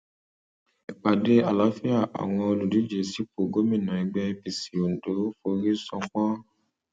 ìpàdé àlàáfíà àwọn olùdíje sípò gómìnà ẹgbẹ apc ondo forí ṣánpọn